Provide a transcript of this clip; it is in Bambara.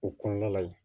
O kɔnɔna la yen